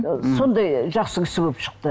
ы сондай жақсы кісі болып шықты